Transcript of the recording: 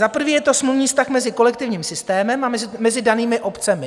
Za prvé je to smluvní vztah mezi kolektivním systémem a mezi danými obcemi.